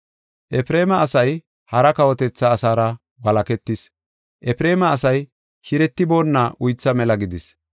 “Efreema asay hara kawotetha asaara walaketis; Efreema asay shiretiboonna uytha mela gidis.